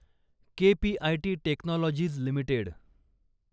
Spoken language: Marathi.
KPIT technologies limited